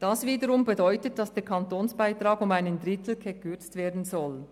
Das wiederum bedeutet, dass der Kantonsbeitrag um einen Drittel gekürzt werden soll.